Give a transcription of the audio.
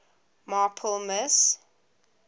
marple miss